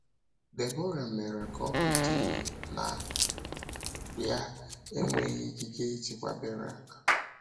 Debọra mere ka ọ pụta ìhè na ya enweghị ikike ịchịkwa Berak.